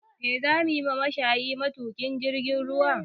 Me za mu yi da mashayin matuƙin jirgin ruwa?